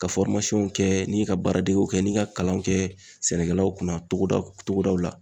Ka kɛ ni ka baara degew kɛ ni ka kalanw kɛ sɛnɛkɛlaw kunna togodaw la.